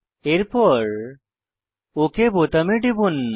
এরপর ওক বোতামে টিপুন